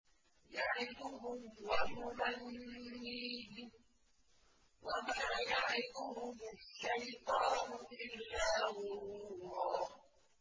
يَعِدُهُمْ وَيُمَنِّيهِمْ ۖ وَمَا يَعِدُهُمُ الشَّيْطَانُ إِلَّا غُرُورًا